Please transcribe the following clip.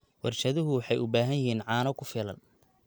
Warshaduhu waxay u baahan yihiin caano ku filan.